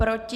Proti?